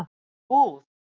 Út í búð?